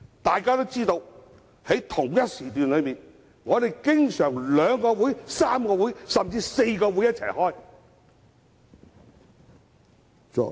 眾所周知，在同一時段中，經常有兩個、3個、甚至4個會議同時進行。